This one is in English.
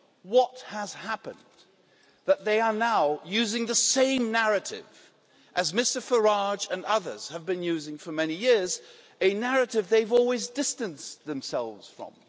What has happened that they are now using the same narrative that Mr Farage and others have been using for many years, a narrative that they've always distanced themselves from?